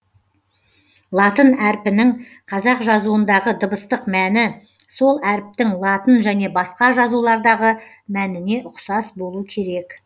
латын әріпінің қазақ жазуындағы дыбыстық мәні сол әріптің латын және басқа жазулардағы мәніне ұқсас болу керек